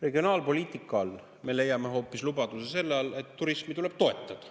Regionaalpoliitika alt me leiame hoopis lubaduse selle kohta, et turismi tuleb toetada.